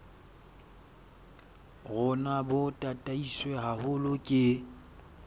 rona bo tataiswe haholo ke